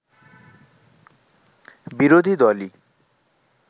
বিরোধী দলই